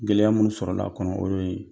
Gɛlɛya minnu sɔrɔla a kɔnɔ o ye